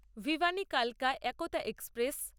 ভিভানি কালকা একতা এক্সপ্রেস